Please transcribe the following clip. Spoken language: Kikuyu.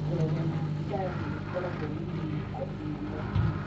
Ndogo ya thigara nĩ ĩkoragwo na mũnungo mũnene mũno.